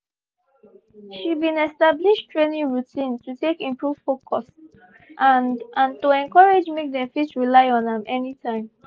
she been establish training routine to take improve focus and and to encourage make they fit rely on am anytime